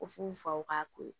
Ko f'u faw k'a ko